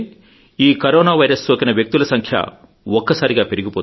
చూస్తుంటే ఈ corona virus సోకిన వ్యక్తుల సంఖ్య ఒక్కసారిగా